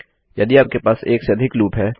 यदि आपके पास 1 से अधिक लूप हैं